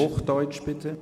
Hochdeutsch, bitte.